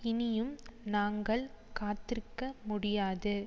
இனியும் நாங்கள் காத்திருக்க முடியாது